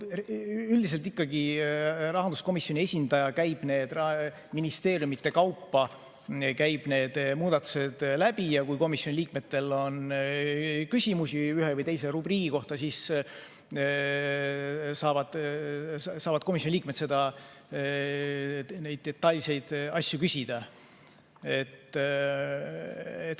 Üldiselt ikkagi Rahanduskomisjoni esindaja ministeeriumide kaupa käib need muudatused läbi ja kui komisjoni liikmetel on küsimusi ühe või teise rubriigi kohta, siis nad saavad neid detailseid asju küsida.